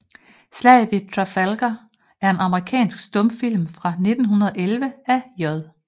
Slaget ved Trafalgar er en amerikansk stumfilm fra 1911 af J